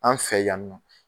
An' fɛ yan nɔ